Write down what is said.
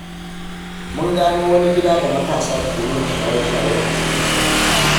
Mun gano wani gida da matasa ke yin shaye-shaye a cikinsa.